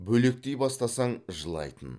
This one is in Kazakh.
бөлектей бастасаң жылайтын